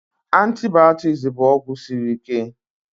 Antibaotiks bụ ọgwụ siri ike